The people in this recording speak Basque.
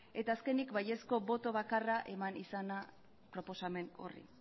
eta azkenik baiezko boto bakarra eman izana proposamen horri